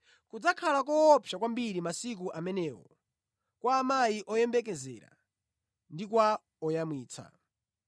Kudzakhala koopsa kwambiri masiku amenewo kwa amayi oyembekezera ndi kwa oyamwitsa!